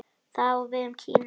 Það á við um Kína.